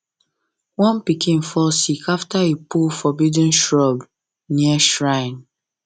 one pikin fall sick after e pull forbidden shrub near shrine